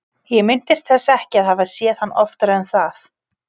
Ég minntist þess ekki að hafa séð hann oftar en það.